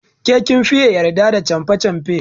Ke kin fiye yarda da canfe canfe.